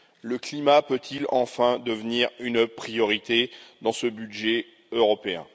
Le climat peut il enfin devenir une priorité dans ce budget européen?